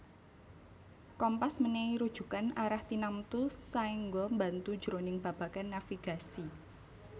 Kompas mènèhi rujukan arah tinamtu saéngga mbantu jroning babagan navigasi